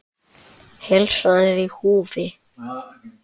Heilsan er í húfi.